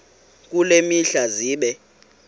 kule mihla zibe